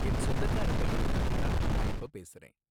என் சொந்தக்கார பையனுக்காக தான் நான் இப்ப பேசுறேன்.